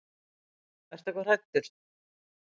Ertu eitthvað hræddur?